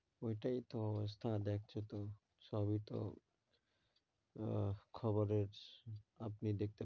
ওইটাই তো অবস্থা দেখছো তো, সবই তো আহ খবরের আপনি দেখতে,